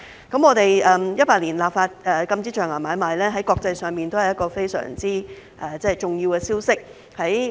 我們在2018年立法禁止象牙買賣，在國際上也是一個非常重要的消息。